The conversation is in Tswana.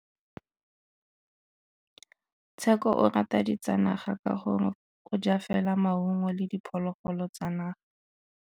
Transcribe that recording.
Tshekô o rata ditsanaga ka gore o ja fela maungo le diphologolo tsa naga.